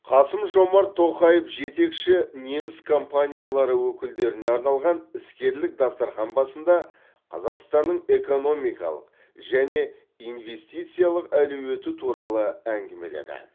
қасым жомарт тоқаев жетекші неміс компаниялары өкілдеріне арналған іскерлік дастархан басында қазақстанның экономикалық және инвестициялық әлеуеті туралы әңгімеледі